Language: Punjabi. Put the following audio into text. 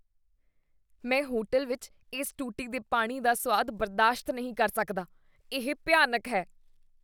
ਮੈਂ ਹੋਟਲ ਵਿੱਚ ਇਸ ਟੂਟੀ ਦੇ ਪਾਣੀ ਦਾ ਸੁਆਦ ਬਰਦਾਸ਼ਤ ਨਹੀਂ ਕਰ ਸਕਦਾ, ਇਹ ਭਿਆਨਕ ਹੈ।